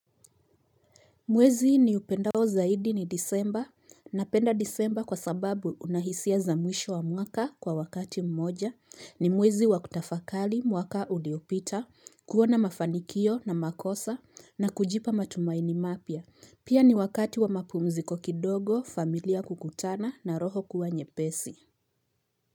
Mwezi niupendao zaidi ni disemba. Napenda disemba kwa sababu una hisia za mwisho wa mwaka kwa wakati mmoja ni mwezi wakutafakari mwaka uliopita, kuona mafanikio na makosa na kujipa matumaini mapya. Pia ni wakati wa mapumziko kidogo, familia kukutana na roho kuwa nyepesi.